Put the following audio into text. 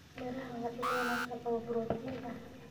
Miraha waa il wanaagsan oo borotiin ah.